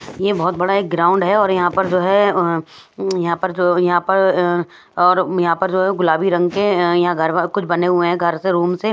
ये बहुत बड़ा एक ग्राउंड है और यहाँ पर जो है यहाँ पर जो यहाँ पर अअ और यहाँ पर जो है गुलाबी रंग के अ यहाँ घर वर कुछ बने हुए हैं घर से रूम से --